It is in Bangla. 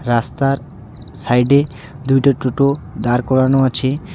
রাস্তার সাইডে দুইটা টোটো দার করানো আছে.